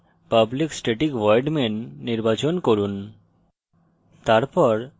method stubs এ public static void main নির্বাচন করুন